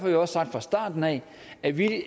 vi også sagt fra starten af at vi